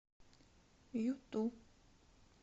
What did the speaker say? юту